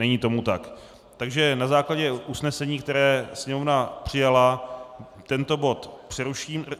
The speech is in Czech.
Není tomu tak, takže na základě usnesení, které Sněmovna přijala, tento bod přeruším.